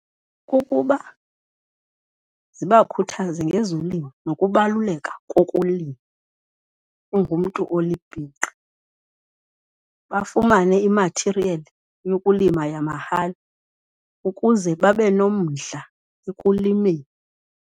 Kukuba zibakhuthaze ngezolimo nokubaluleka kokulima ungumntu olibhinqa, bafumane imathiriyeli yokulima yamahala ukuze babe nomdla ekulimeni.